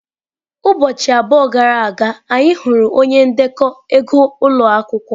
Ụbọchị abụọ gara aga, anyị hụrụ onye ndekọ ego ụlọ akwụkwọ.